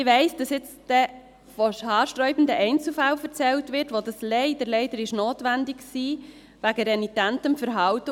Ich weiss, dass dann gleich von haarsträubenden Einzelfällen erzählt wird, wo dies wegen renitentem Verhalten leider notwendig war.